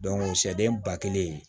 sɛden ba kelen